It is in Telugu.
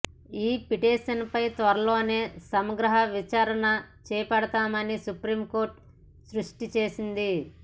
ఈ పిటిషన్పై త్వరలోనే సమగ్ర విచారణ చేపడతామని సుప్రీంకోర్టు స్పష్టం చేసింది